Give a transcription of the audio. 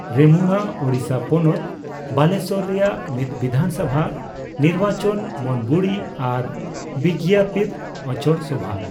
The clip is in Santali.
ᱨᱮᱢᱩᱬᱟ ᱳᱰᱤᱥᱟ ᱯᱚᱱᱚᱛ ᱵᱟᱞᱮᱥᱚᱨ ᱨᱮᱭᱟᱜ ᱢᱤᱫ ᱵᱤᱫᱷᱟᱱ ᱥᱚᱵᱷᱟ ᱱᱤᱨᱵᱟᱪᱚᱱ ᱢᱚᱱᱵᱚᱲᱤ ᱟᱨ ᱵᱤᱜᱽᱭᱟᱸᱯᱤᱛ ᱚᱝᱪᱚᱲ ᱥᱚᱵᱷᱟ।